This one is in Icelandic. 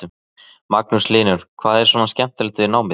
Magnús Hlynur: Hvað er svona skemmtilegast við námið?